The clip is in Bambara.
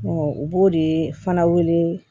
u b'o de fana wele